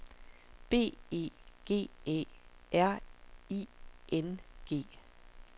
B E G Æ R I N G